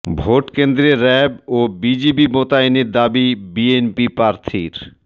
vote কেন্দ্রে RAB ও BGB মোতায়েনের দাবি বিএনপি প্রার্থীর